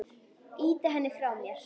Ýti henni frá mér.